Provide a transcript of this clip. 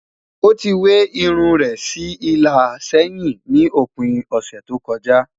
o tí we irún rè sí ìlà sẹyìn ní òpin ọsẹ tó kojá